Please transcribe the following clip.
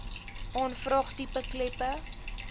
aanvraag tipe kleppe